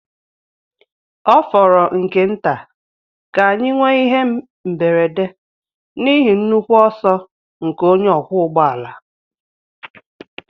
Ọ fọrọ nke nta ka anyị nwee ihe mberede n'ihi nnukwu ọsọ nke onye ọkwọ ụgbọ ala.